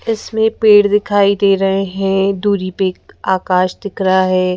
इसमें पेड़ दिखाई दे रहे हैं दूरी पे आकाश दिख रहा है।